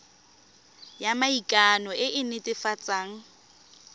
ya maikano e e netefatsang